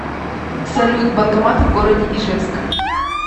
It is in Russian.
салют банкоматы в городе ижевск